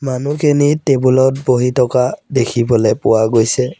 মানুহখিনি ত বহি থকা দেখিবলৈ পোৱা গৈছে।